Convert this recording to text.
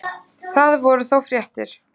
Það voru þó fréttir.